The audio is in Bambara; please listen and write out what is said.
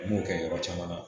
N b'o kɛ yɔrɔ caman na